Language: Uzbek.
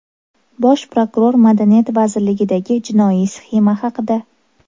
Bosh prokuror Madaniyat vazirligidagi jinoiy sxema haqida.